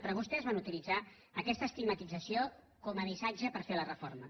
però vostès van utilitzar aquesta estigmatització com a missatge per fer la reforma